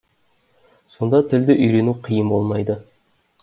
сонда тілді үйрену қиын болмайды